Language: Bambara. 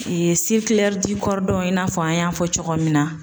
i n'a fɔ an y'a fɔ cogo min na.